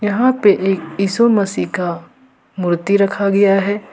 यहां पे एक यीशु मसीह का मूर्ति रखा गया है।